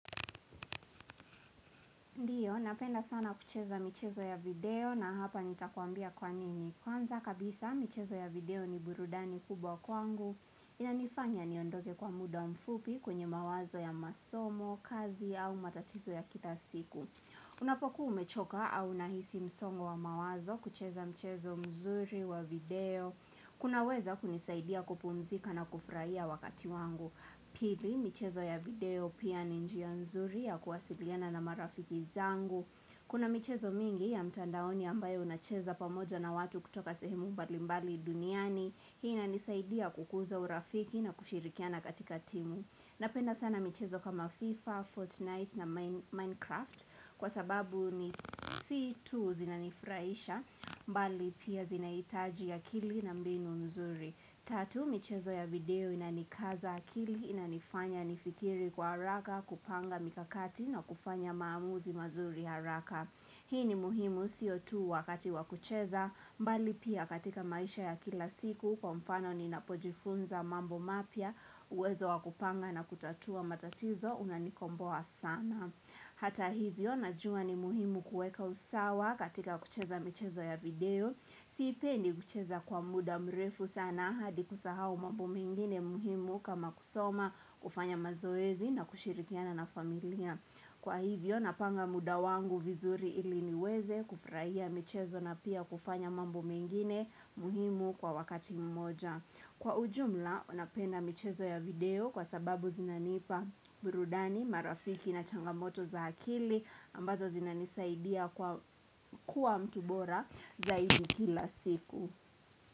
Napenda sana kucheza michezo ya video na hapa nitakuambia kwa nini. Kwanza kabisa michezo ya video ni burudani kubwa kwangu. Inanifanya niondoke kwa muda mfupi kunye mawazo ya masomo, kazi au matatizo ya kila siku. Unapoku umechoka au unahisi msongo wa mawazo kucheza mchezo mzuri wa video. Kunaweza kunisaidia kupumzika na kufurahia wakati wangu. Pili, michezo ya video pia ni njia nzuri ya kuwasiliana na marafiki zangu Kuna michezo mingi ya mtandaoni ambayo unacheza pamoja na watu kutoka sehemu mbali mbali duniani Hii ina nisaidia kukuza urafiki na kushirikiana katika timu Napenda sana michezo kama FIFA, Fortnite na Minecraft Kwa sababu ni situ zinanifurahisha mbali pia zinaitaji akili na mbinu nzuri Tatu michezo ya video inanikaza akili inanifanya nifikiri kwa haraka kupanga mikakati na kufanya maamuzi mazuri haraka. Hii ni muhimu sio tu wakati wakucheza mbali pia katika maisha ya kila siku kwa mfano ni napojifunza mambo mapya uwezo wakupanga na kutatua matatizo unanikomboa sana. Hata hivyo najuwa ni muhimu kueka usawa katika kucheza mchezo ya video Sipendi kucheza kwa muda mrefu sana hadi kusahau mambo mengine muhimu kama kusoma kufanya mazoezi na kushirikiana na familia Kwa hivyo na panga muda wangu vizuri iliniweze kufurahia mchezo na pia kufanya mambo mengine muhimu kwa wakati mmoja Kwa ujumla, unapenda michezo ya video kwa sababu zinanipa burudani, marafiki na changamoto za akili ambazo zinanisaidia kuwa mtu bora zaidi kila siku.